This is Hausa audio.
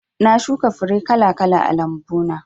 Na shuka fure kala kala a lambu na